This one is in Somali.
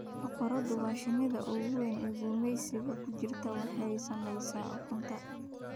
Boqoradu waa shinnida ugu wayn ee gumaysiga ku jirta oo waxay samaysaa ukunta.